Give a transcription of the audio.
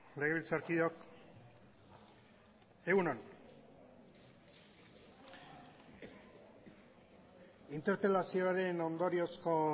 legebiltzarkideok egun on interpelazioaren ondoriozko